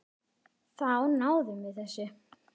Þá náðum við þessu.